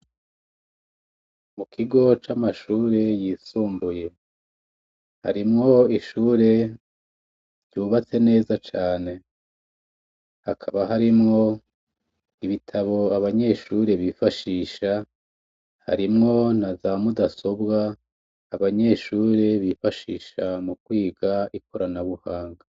Mu kigo c'amashure yisumbuye harimwo ishure ryubatse neza cane hakaba harimwo ibitabo abanyeshure bifashisha harimwo na za mudasobwa abanyeshure bifashisha mu kwiga ikoranabuhanga.